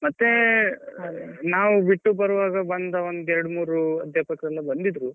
ಮತ್ತೇ ನಾವು ಬಿಟ್ಟು ಬರುವಾಗ ಬಂದ ಒಂದ್ ಎರಡು ಮೂರು ಅಧ್ಯಾಪಕರೆಲ್ಲ ಬಂದಿದ್ರು.